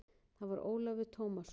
Það var Ólafur Tómasson.